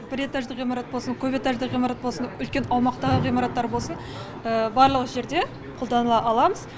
бір этажды ғимарат болсын көп этажды ғимарат болсын үлкен аумақтағы ғимараттар болсын барлық жерде қолданыла аламыз